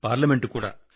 parliament కూడా